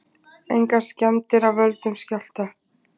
Engar skemmdir af völdum skjálfta